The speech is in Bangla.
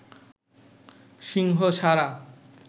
সিংহ ছাড়া